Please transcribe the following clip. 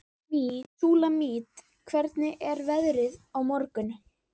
Súlamít, hvernig er veðrið á morgun?